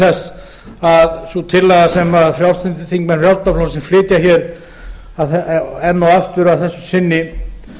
þess að sú tillaga sem þingmenn frjálslynda flokksins flytja hér enn og aftur að þessu sinni